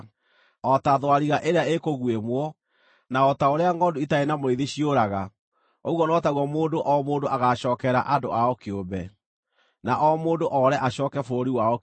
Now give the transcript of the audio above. O ta thwariga ĩrĩa ĩkũguĩmwo, na o ta ũrĩa ngʼondu itarĩ na mũrĩithi ciũraga, ũguo no taguo mũndũ o mũndũ agaacookerera andũ ao kĩũmbe, na o mũndũ oore acooke bũrũri wao kĩũmbe.